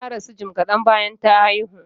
Ta rasu jim kadan bayan ta haihu.